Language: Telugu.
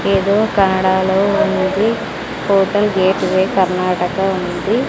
ఏదో కనడాలో ఉందిది హోటల్ గేట్వే కర్ణాటక ఉంది.